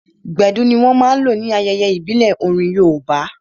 Gbedu ní wọ́n máa n lò ní ayẹyẹ ìbílẹ̀ orin yoòbá